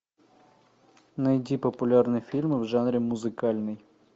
найди популярные фильмы в жанре музыкальный